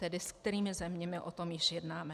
Tedy s kterými zeměmi o tom již jednáme.